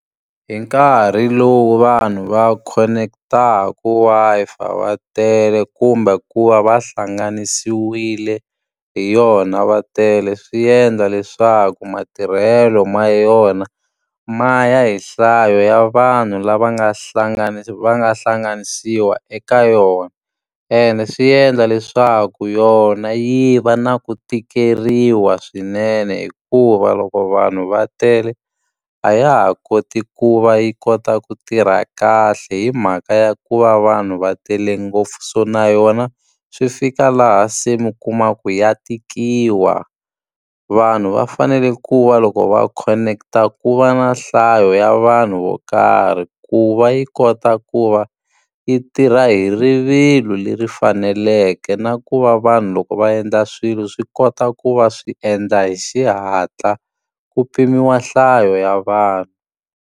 Hi nkarhi lowu vanhu va khoneketaku Wi-Fi va tele kumbe ku va va hlanganisiwile hi yona va tele, swi endla leswaku matirhelo ma yona ma ya hi nhlayo ya vanhu lava nga va nga hlanganisiwa eka yona. Ene swi endla leswaku yona yi va na ku tikeriwa swinene hikuva loko vanhu va tele, a ya ha koti ku va yi kota ku tirha kahle hi mhaka ya ku va vanhu va tele ngopfu. So na yona swi fika laha se mi kuma ku ya tikiwa. Vanhu va fanele ku va loko va connect-a ku va na nhlayo ya vanhu vo karhi, ku va yi kota ku va yi tirha hi rivilo leri faneleke. Na ku va vanhu loko va endla swilo swi kota ku va swi endla hi xihatla, ku pimiwa nhlayo ya vanhu.